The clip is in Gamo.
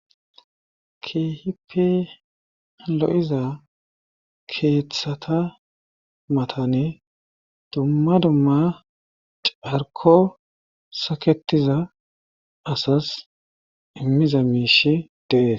keehipe lo7iza keeththata matani dumma dumma carko saketiza asas immiza miishi de'es